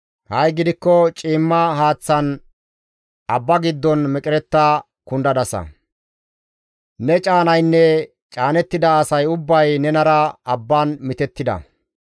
Ha7i gidikko ciimma haaththan abba giddon meqeretta kundadasa; ne caanaynne caanettida asay ubbay nenara abban mitettida.